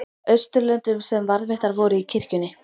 Austurlöndum sem varðveittar voru í kirkjunni.